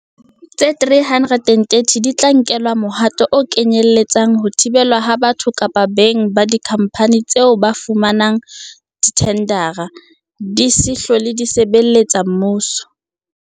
Tse 330 di tla nkelwa mohato o kenyele tsang ho thibelwa ha batho kapa beng ba dikhampani tseo ho fumana dithendara, di se hlole di sebeletsa mmuso.